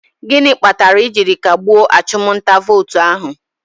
Gịnị kpatara e jiri kagbue achụm nta vootu ahụ?